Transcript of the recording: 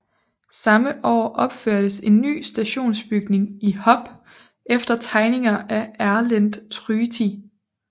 Samme år opførtes en ny stationsbygning i Hop efter tegninger af Erlend Tryti